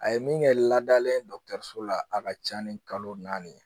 A ye min kɛ ladalen ye dɔgɔtɔrɔso la a ka ca ni kalo naani ye